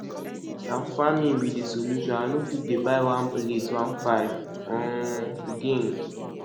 na farming be de solution i no fit dey buy one plate one thousand five hundred um again